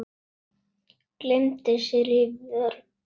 Gleymdi sér í vörn.